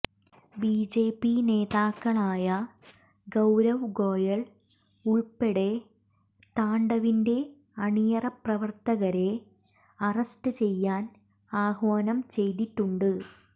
BJP നേതാക്കളായ ഗൌരവ് ഗോയൽ ഉൾപ്പടെ താണ്ഡവിന്റെ അണിയറപ്രവർത്തകരെഅറസ്ററ് ചെയ്യാൻ ആഹ്വാനം ചെയ്തിട്ടുണ്ട്